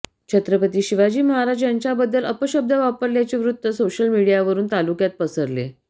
छत्रपती शिवाजी महाराज यांच्याबद्दल अपशब्द वापरल्याचे वृत्त सोशल मीडियावरून तालुक्यात पसरले